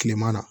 Kileman na